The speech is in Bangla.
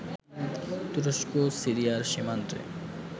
তুরস্ক-সিরিয়ার সীমান্তে